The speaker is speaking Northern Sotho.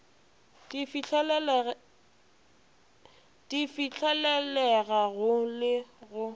di fihlelelega go le go